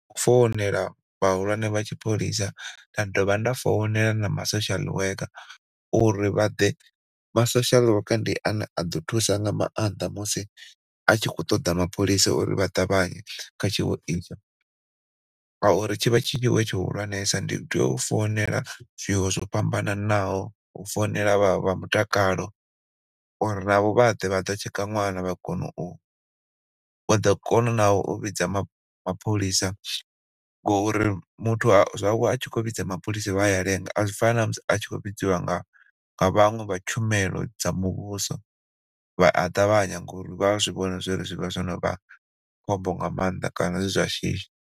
Founela vhahulwane vha tshipholisa nda dovha nda founela na ma social worker uri vhaḓe, Ma social worker ndi ane a ḓo thusa nga maanḓa musi atshi kho ṱoḓa mapholisa uri vhaṱavhanye kha tshiwo itsho, nga uri tshi vha tshihulwanesa ndi tea u founela zwiwo zwo fhambanaho u founela vha mutakalo uri navho vhaḓe vha ḓo u tsheka ṅwana vha kone u vha ḓo kona na u vhidza mapho mapholisa ngo uri muthu a zwawe a tshi kho vhidza mapholisa vhaya lenga azwi fani namusi a tshi kho vhidziwa nga nga vhaṅwe vha tshumelo dza muvhuso, vha a ṱavhanya ngori vha a zwivhoni zwori zwivha zwonovha khombo nga maanḓa kana zwizwa shishi.